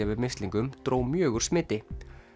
við mislingum dró mjög úr smiti